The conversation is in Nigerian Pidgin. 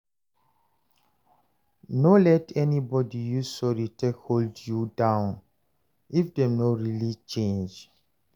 No let anybody use sorry take hold you down if dem no really change.